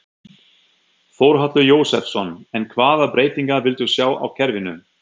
Þórhallur Jósefsson: En hvaða breytingar viltu sjá á kerfinu?